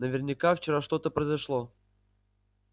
наверняка вчера что-то произошло